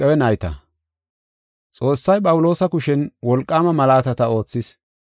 Xoossay Phawuloosa kushen wolqaama malaatata oothis.